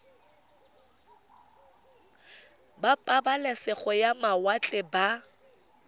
ba pabalesego ya mawatle ba